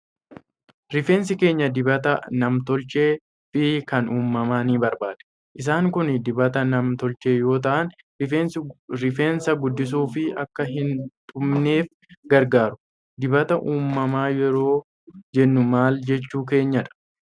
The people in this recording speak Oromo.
Rifeensi keenya dibata nam tolchee fi kan uumamaa ni barbaada. Isaan kun dibata nam tolchee yoo ta'an, rifeensa guddisuu fi akka hin dhumanneef gargaaru. Dibata uumamaa yeroo jennu maal jechuu keenyadha?